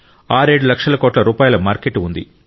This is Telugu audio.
67 లక్షల కోట్ల రూపాయల మార్కెట్ ఉంది